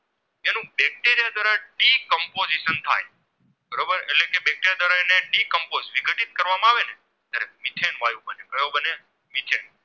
નીચે